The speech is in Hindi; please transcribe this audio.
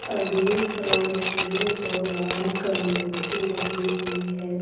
अगले फ्राउट पे भगवान का मूर्ति लगी हुई है।